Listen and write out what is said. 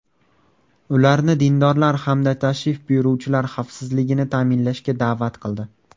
Ularni dindorlar hamda tashrif buyuruvchilar xavfsizligini ta’minlashga da’vat qildi.